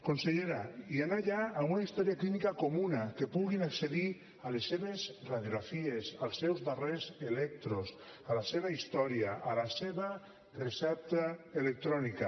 consellera i anar allà amb una història clínica comuna que puguin accedir a les seves radiografies als seus darrers electros a la seva història a la seva recepta electrònica